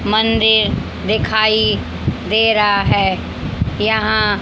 मंदिर दिखाई दे रहा है यहां--